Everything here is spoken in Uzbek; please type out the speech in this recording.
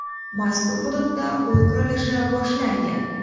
Mazkur hududda uy qurilishi boshlangan.